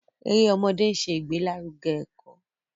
Èrè ọmọdé nṣẹ igbelaruge eko.